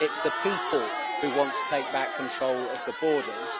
It's the people who want to take back control of the borders.